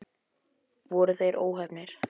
Voru þeir óheppnir?